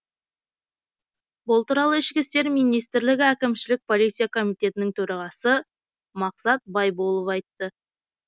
бұл туралы ішкі істер министрлігі әкімшілік полиция комитетінің төрағасы мақсат байболов айтты